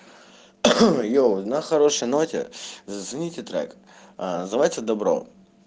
йоу на хорошей ноте зацените трек называется добро